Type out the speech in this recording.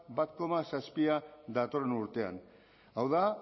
bat koma zazpia datorren urtean hau da